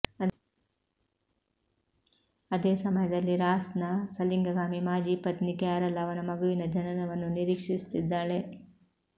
ಅದೇ ಸಮಯದಲ್ಲಿ ರಾಸ್ ನ ಸಲಿಂಗಕಾಮಿ ಮಾಜಿ ಪತ್ನಿ ಕ್ಯಾರಲ್ ಅವನ ಮಗುವಿನ ಜನನವನ್ನು ನಿರೀಕ್ಷಿಸುತ್ತಿದ್ದಾಳೆ